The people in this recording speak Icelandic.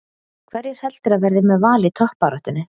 Hverjir heldurðu að verði með Val í toppbaráttunni?